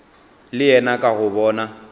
le yena ka go bona